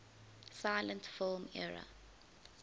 silent film era